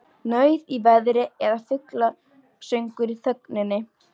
Nauð í veðri eða fuglasöngur í þögninni.